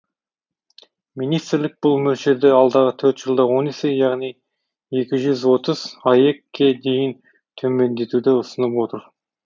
министрлік бұл мөлшерді алдағы төрт жылда он есе яғни екі жүз отыз аек ке дейін төмендетуді ұсынып отыр